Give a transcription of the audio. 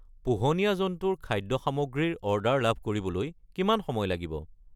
পোহনীয়া জন্তুৰ খাদ্য সামগ্ৰী ৰ অৰ্ডাৰ লাভ কৰিবলৈ কিমান সময় লাগিব?